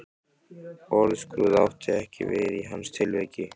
Orðskrúð átti ekki við í hans tilviki.